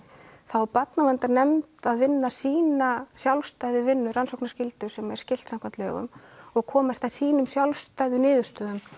þá á barnaverndarnefnd að vinna sína sjálfstæðu vinnu rannsóknarskyldu sem er skylt samkvæmt lögum og komast að sínum sjálfstæðu niðurstöðum